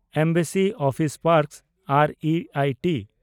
embassy office park ᱟᱨ ᱤ I T